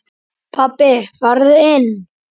Pabbi farðu inn!